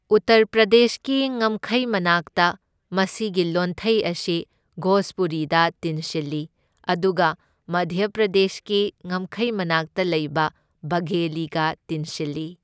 ꯎꯠꯇꯔ ꯄ꯭ꯔꯗꯦꯁꯀꯤ ꯉꯝꯈꯩ ꯃꯅꯥꯛꯇ, ꯃꯁꯤꯒꯤ ꯂꯣꯟꯊꯩ ꯑꯁꯤ ꯚꯣꯖꯄꯨꯔꯤꯗ ꯇꯤꯟꯁꯤꯜꯂꯤ, ꯑꯗꯨꯒ ꯃꯙ꯭ꯌ ꯄ꯭ꯔꯗꯦꯁꯀꯤ ꯉꯝꯈꯩ ꯃꯅꯥꯛꯇ ꯂꯩꯕ ꯕꯘꯦꯂꯤꯒ ꯇꯤꯟꯁꯤꯜꯂꯤ꯫